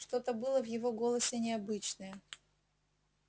что-то было в его голосе необычное